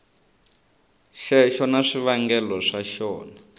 xexo na swivangelo swa xona